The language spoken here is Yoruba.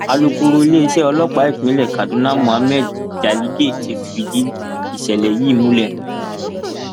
alūkkóró iléeṣẹ ọlọpàá ìpínlẹ kaduna muhammad jaligé ti fìdí ìṣẹlẹ yìí múlẹ